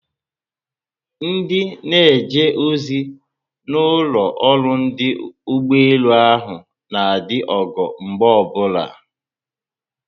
Ndị na eje ozi na ụlọ ọrụ ọdụ ụgbọelu ahụ na adị ogo mgbe obula